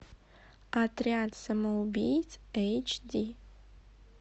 отряд самоубийц эйч ди